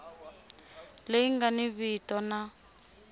leyi nga ni vito na